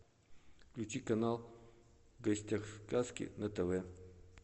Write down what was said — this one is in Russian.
включи канал в гостях у сказки на тв